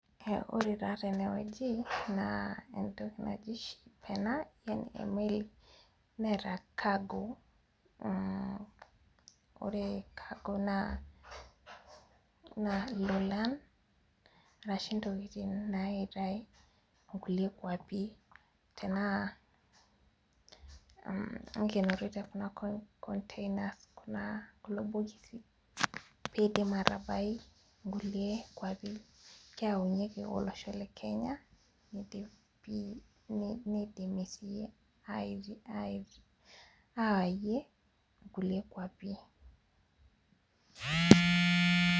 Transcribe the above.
Ore taa tene wueji naa etoki naji ship ena emeli neeata cargo ore cargo naa ilulan arashu intokitin naiitae kuliek kwapi tenaa mm neikenori te kuna containers kulo bokisi pidim atabai kulie kuapi keyaunyieki olosho le kenya nidim sii awayie kulie kuapi.